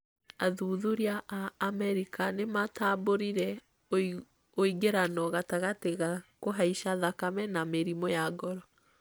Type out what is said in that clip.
athuthuria a Amerika nĩ matambũrire ũingĩrano gatagatĩ ga kũhaica thakame na mĩrimũ ya ngoro